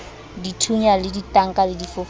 dithunya le ditanka le difofane